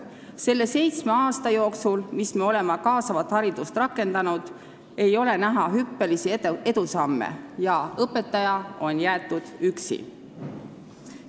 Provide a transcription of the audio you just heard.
Nende seitsme aasta jooksul, mil me oleme kaasavat haridust rakendanud, ei ole olnud näha hüppelisi edusamme, õpetaja on jäetud üksi.